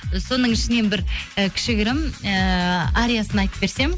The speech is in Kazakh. соның ішінен бір і кішігірім ііі ариясын айтып берсем